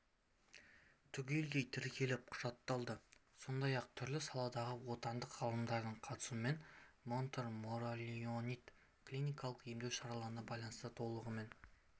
түгелдей тіркеліп құжатталды сондай-ақ түрлі саладағы отандық ғалымдардың қатысуымен монтмориллионит клиникалық емдеу шараларына байланысты толығымен